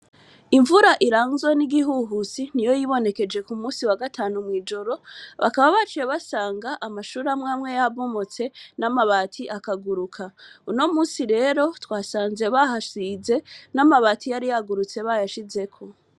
Imvura iranzwe n' igihuhusi niyo yibonekeje Ku munsi wa gatanu mw' ijoro, bakaba baciye basanga z'amashure amwe amwe yabomotse n' amabati akaguruka. Uno munsi rero twasanze bahasize, n' amabati yari yagurutse bayasizeko.